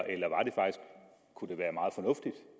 kunne det